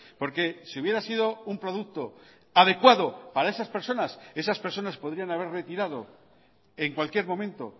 porque si hubiera sido un producto adecuado para esas personas esas personas podrían haber retirado en cualquier momento